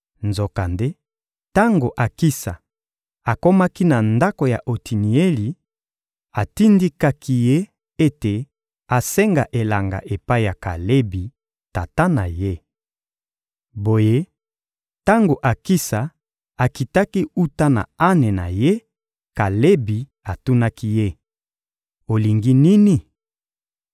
Nzokande, tango Akisa akomaki na ndako ya Otinieli, atindikaki ye ete asenga elanga epai ya Kalebi, tata na ye. Boye, tango Akisa akitaki wuta na ane na ye, Kalebi atunaki ye: — Olingi nini?